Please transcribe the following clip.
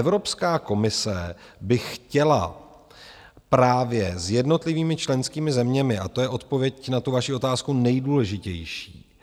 Evropská komise by chtěla právě s jednotlivými členskými zeměmi, a to je odpověď na tu vaši otázku nejdůležitější,